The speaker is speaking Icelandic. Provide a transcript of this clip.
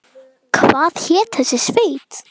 Hvað hét þessi sveit?